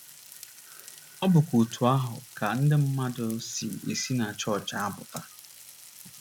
Ọ bụkwa otú ahụ ka ndị mmadụ si esi na chọọchị apụta